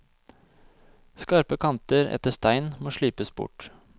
Skarpe kanter etter stein må slipes bort.